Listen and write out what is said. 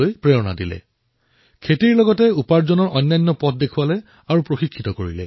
তেওঁৰ গাঁৱৰ মহিলাসকলক খেতিৰ সৈতে কৰ্ম সংস্থাপনৰ অন্য সাধনসমূহৰো প্ৰশিক্ষণ প্ৰদান কৰিছে